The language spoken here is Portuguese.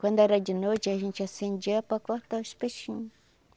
Quando era de noite, a gente acendia para cortar os peixinhos.